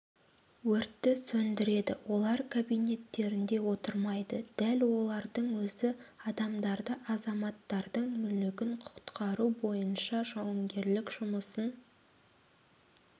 өртті сөндіреді олар кабинеттерінде отырмайды дәл олардың өзі адамдарды азаматтардың мүлігін құтқару бойынша жауынгерлік жұмысын